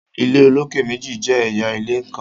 ilé olokè méjì jẹ ẹyà ilé nkán